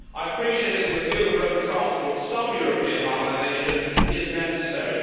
I appreciate that in the field of road transport, some European harmonisation is necessary.